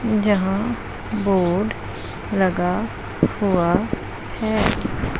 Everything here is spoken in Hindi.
जहां बोर्ड लगा हुआ है।